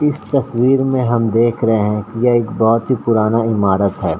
इस तस्वीर में हम देख रहे हैं कि ये एक बहुत ही पुराना इमारत है।